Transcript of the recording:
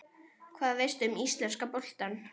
Hvað veistu um íslenska boltann?